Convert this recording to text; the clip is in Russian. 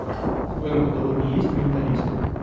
в твоем каталоге есть менталист